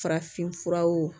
Farafinfuraw